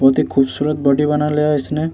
बहुत ही खुबसूरत बॉडी बना लिया इसने।